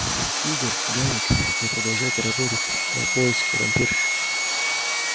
игорь гарик вы продолжаете работать на поиске вампирш